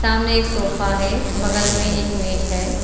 सामने एक सोफा है। बगल में एक मेज है।